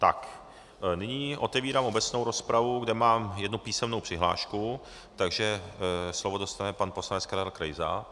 Tak, nyní otevírám obecnou rozpravu, kde mám jednu písemnou přihlášku, takže slovo dostane pan poslanec Karel Krejza.